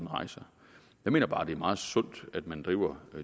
rejser jeg mener bare at det er meget sundt at man driver